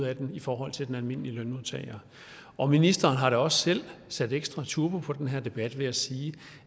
af den i forhold til den almindelige lønmodtager og ministeren har da også selv sat ekstra turbo på den her debat ved at sige